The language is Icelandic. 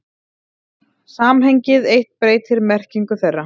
Samhengið eitt breytir merkingu þeirra.